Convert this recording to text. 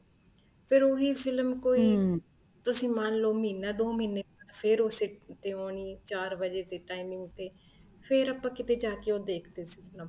ਫ਼ਿਰ ਉਹੀ ਫ਼ਿਲਮ ਕੋਈ ਤੁਸੀਂ ਮੰਨਲੋ ਮਹੀਨਾ ਦੋ ਮਹੀਨੇ ਫ਼ੇਰ use ਤੇ ਆਉਣੀ ਚਾਰ ਵਜ਼ੇ ਦੀ timing ਤੇ ਫ਼ੇਰ ਆਪਾਂ ਉਹ ਕਿੱਥੇ ਜਾਕੇ ਦੇਖਦੇ ਸੀ ਉਹ ਫ਼ਿਲਮ